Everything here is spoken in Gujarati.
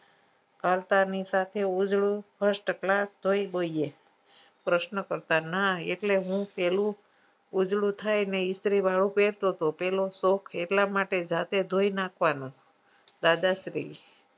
વાળતા ની સાથે ઉજળું first class જોઈએ પ્રશ્નો કરતા એટલું હું પેલું ઉજળું થાય ને ઈસ્ત્રી વાળું પેરતો પેલો શોખ એટલે જાતે ધોઈ નાખવાનું દાદાશ્રી